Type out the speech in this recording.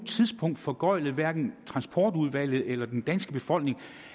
tidspunkt foregøglet hverken transportudvalget eller den danske befolkning